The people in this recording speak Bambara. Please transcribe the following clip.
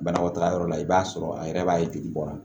Banakɔtaga yɔrɔ la i b'a sɔrɔ a yɛrɛ b'a ye jeli bɔ wa